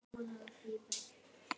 Hvað hafið þið fyrir stafni?